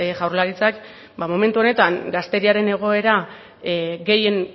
jaurlaritzak ba momentu honetan gazteriaren egoera